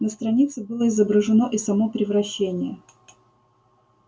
на странице было изображено и само превращение